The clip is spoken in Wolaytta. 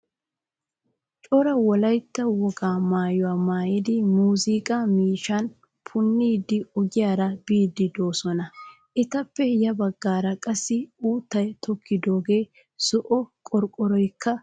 Cora wolaytta wogaa maayuwaa maayidi muuzziqa miishshaan punidi ogiyaara biidi deosona. Etappe ya baggaara qassi uutta tokkidogene zo'o qorqorykka de'ees.